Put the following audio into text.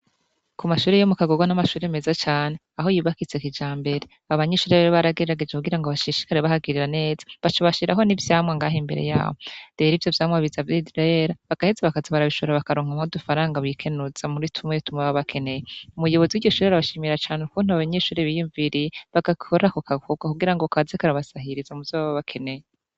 Ku mashure yo mu Kagoga ni amashure meza cane, aho yubakitse kijambere. Abanyeshure rero baragerageje kugira bashishikare bahagirira neza, baca bashiraho n'ivyamwa ngaho imbere yaho. Rero ivyo vyamwa biza birera, bagaheza bakabishora bakaronkamwo udufaranga bikenuza muri tumwe tumwe baba bakeneye. Umuyobozi w'iryo shure arabashimira cane ukuntu abanyeshure biyumviriye bagakora ako gakorwa kugira kaze karabasahiriza muvyo baba bakeneye.